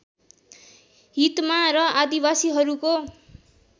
हितमा र आदिवासीहरूको